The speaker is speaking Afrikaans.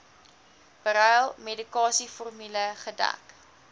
beryl medikasieformule gedek